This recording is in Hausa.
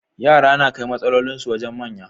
Yara nakai matsalolin su wajan manya